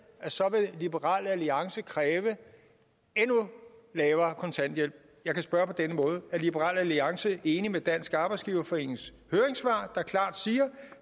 så vil liberal alliance kræve en endnu lavere kontanthjælp jeg kan spørge på denne måde er liberal alliance enig med dansk arbejdsgiverforenings høringssvar der klart siger